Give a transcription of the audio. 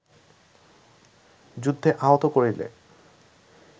যুদ্ধে আহত করিলে